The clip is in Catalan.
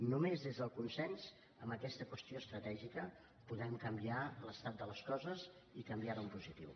només des del consens en aquesta qüestió estratègica podem canviar l’estat de les coses i canviar lo en positiu